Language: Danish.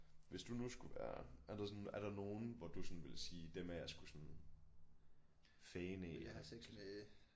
Hvis du nu skulle være er der sådan er der nogen hvor du sådan ville sige dem er jeg sgu sådan fan af